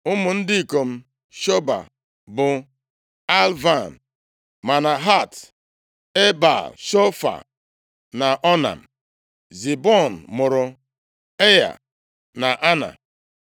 Ụmụ ndị ikom Shobal bụ Alvan, + 1:40 Maọbụ, Alian, dịka ọtụtụ akwụkwọ ndị Hibru na-ede ya. \+xt Jen 36:23.\+xt* Manahat, Ebal, Shefo na Onam. Zibiọn mụrụ Aịa na Ana.